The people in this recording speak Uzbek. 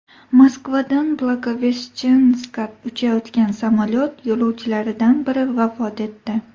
Moskvadan Blagoveshchenskka uchayotgan samolyot yo‘lovchilaridan biri vafot etdi.